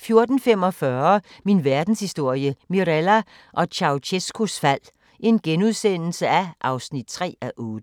14:45: Min Verdenshistorie – Mirella og Ceaucescaus fald (3:8)*